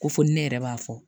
Ko fo ni ne yɛrɛ b'a fɔ